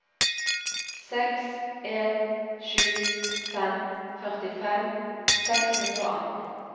seks en sju fem førtifem seks hundre og atten